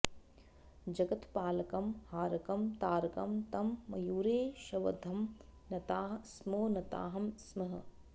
जगत्पालकं हारकं तारकं तं मयूरेशवंद्यं नताः स्मो नताः स्मः